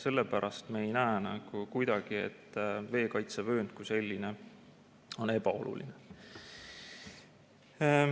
Sellepärast me ei näe kuidagi, et veekaitsevöönd kui selline on ebaoluline.